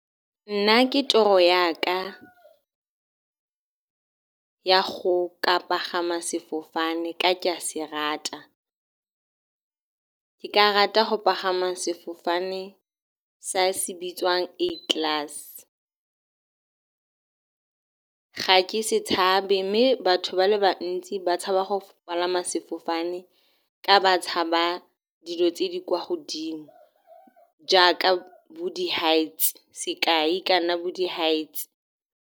Nna ke toro ya ka ya go ka pagama sefofane, ka ke a se rata. Ke ka rata go pagama sefofane sa se bitswang A-Class. Ga ke se tshabe mme batho ba le bantsi ba tshaba go palama sefofane ka ba tshaba dilo tse di kwa godimo jaaka bo di-heights, sekai e ka nna bo di-heights.